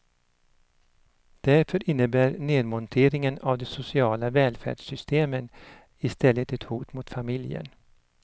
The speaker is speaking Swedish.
Därför innebär nedmonteringen av de sociala välfärdssystemen i stället ett hot mot familjen.